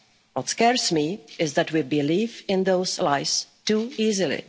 in itself. What scares me is that we believe in those lies